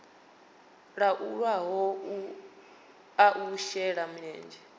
laulwaho a u shela mulenzhe